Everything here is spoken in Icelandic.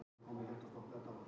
En hér fór eitthvað úrskeiðis.